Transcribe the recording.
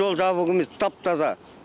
жол жабық емес тап таза